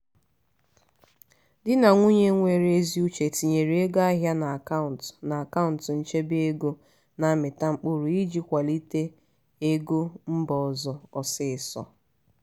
di na nwunye nwere ezi uche tinyere ego ahịa n'akaụntụ n'akaụntụ nchebe ego na-amịta mkpụrụ iji kwalite ego mba ọzọ ọsịịsọ.